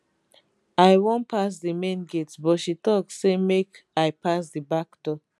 i wan pass di main gate but she tok say make i pass di back door